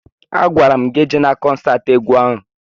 A gwara m gị ejela kọnsatị egwu ahụ!